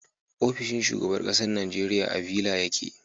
ofishin shugaban ƙasar Nigeria a Villa yake